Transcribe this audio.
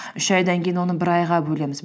үш айдан кейін оны бір айға бөлеміз